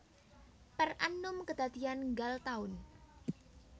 Per annum kedadian nggal taun